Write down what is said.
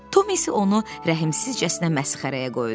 Tom isə onu rəhmsizcəsinə məsxərəyə qoydu.